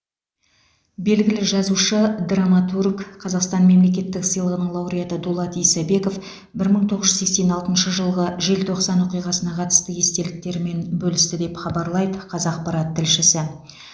белгілі жазушы драматург қазақстан мемлекеттік сыйлығының лауреаты дулат исабеков бір мың тоғыз жүз сексен алтыншы жылғы желтоқсан оқиғасына қатысты естеліктерімен бөлісті деп хабарлайды қазақпарат тілшісі